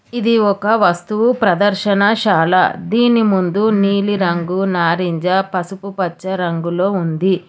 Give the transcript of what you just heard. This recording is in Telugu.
ఇది ఒక వస్తువు ప్రదర్శనశాల దీని ముందు నీలిరంగు నారింజ పసుపుపచ్చ రంగులో ఉంది.